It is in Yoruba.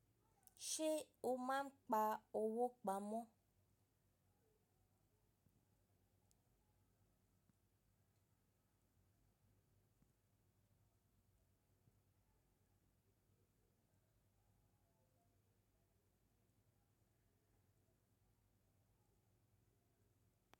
Ṣé o máa ń pa owó pamọ́?